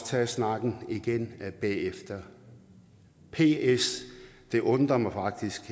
tage snakken igen bagefter ps det undrer mig faktisk